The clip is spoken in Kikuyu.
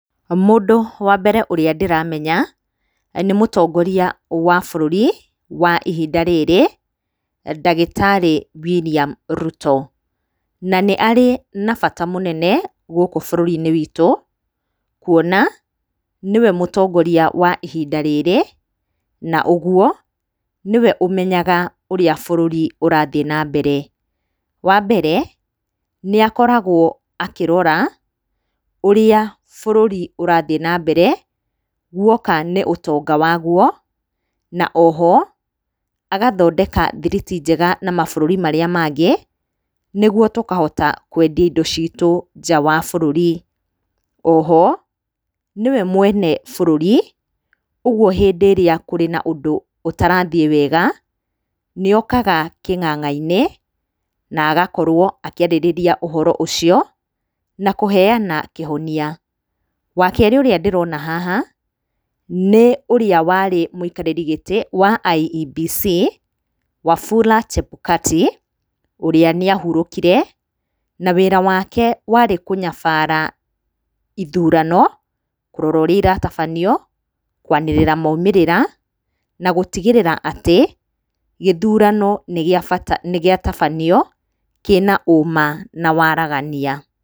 Mũndũ wa mbere ũrĩa ndĩramenya nĩ mũtongoria wa bũrũri wa ihinda rĩrĩ ndagĩtarĩ William Ruto. Na nĩarĩ na bata mũnene gũkũ bũrũri-inĩ witũ kuona nĩwe mũtongoria wa ihinda rĩrĩ na ũguo nĩwe ũmenyaga ũrĩa bũrũri ũrathiĩ na mbere. Wambere nĩakoragwo akĩrora ũrĩa bũrũri ũrathiĩ na mbere guoka nĩ ũtonga waguo. Na oho agathondeka thiriti njega na mabũrũri marĩa mangĩ nĩguo tũkahota kwendia indo citũ nja wa bũrũri. Oho nĩwe mwene bũrũri ũguo hĩndĩ ĩrĩa kũrĩ na ũndũ ũtarathiĩ wega nĩokaga kĩng'ang'a-inĩ na agakorwo akĩarĩrĩria ũhoro ũcio na kũheyana kĩhonia. Wakerĩ ũrĩa ndĩrona haha nĩ ũrĩa warĩ mũikarĩri gĩtĩ kĩa IEBC Wafula Chebukati ũrĩa nĩahurũkire na wĩra wake warĩ kũnyabara ithurano kũrora urĩa iratabanio kwanĩrĩra maumĩrĩra na gũtigĩrĩra atĩ gĩthurano nĩgĩatabanio kĩna ũma na waragania.